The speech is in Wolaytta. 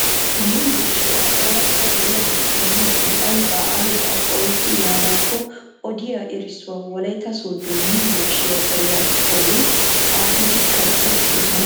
Yumburshshiyaa oorata geliya naati yiidi ayba ayba oyqqi yaanakko odiyaa erissuwa Wolaytta Sooddo yumburshshiyaa bariya bolli xaafidi kaqqi uttidoosona .